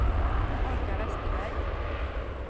Olga Vesterberg